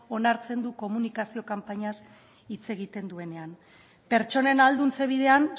onartzen du komunikazio kanpainaz hitz egiten duenean pertsonen ahalduntze bidean